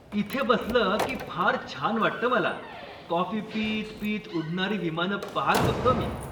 इथे बसलं की फार छान वाटतं मला, कॉफी पीत पीत उडणारी विमानं पाहत बसतो मी.